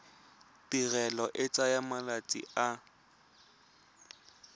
tirelo e tsaya malatsi a